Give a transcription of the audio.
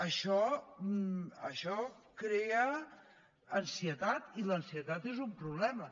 això crea ansietat i l’ansietat és un problema